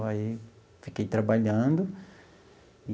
Aí fiquei trabalhando.